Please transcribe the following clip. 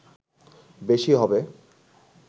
বেশি হবে